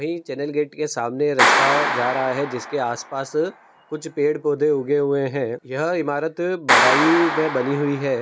यह channel gate के सामने रस्ता जा रहा है जिसके आस-पास कुछ पेड़-पौधे उगे हुए है यह इमारत बदायु में बनी हुई है।